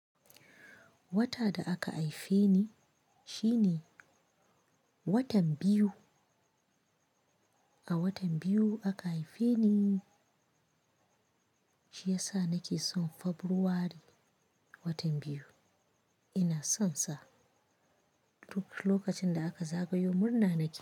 Wata da aka haife ni shine watan biyu. A watan biyu aka haife ni, shi yasa nake son Fabrairu watan biyu. Ina son sa duk lokacin da aka zagayo murna nake.